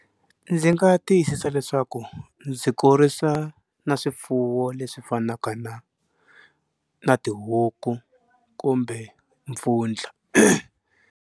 Ndzi nga tiyisisa leswaku ndzi kurisa na swifuwo leswi fanaka na na tihuku kumbe mpfundla.